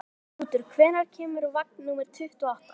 Þrútur, hvenær kemur vagn númer tuttugu og átta?